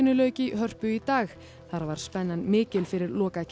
lauk í Hörpu í dag þar var spennan mikil fyrir